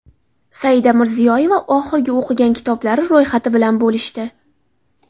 Saida Mirziyoyeva oxirgi o‘qigan kitoblari ro‘yxati bilan bo‘lishdi.